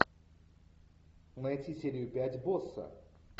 найти серию пять босса